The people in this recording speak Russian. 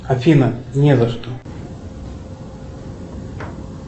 афина не за что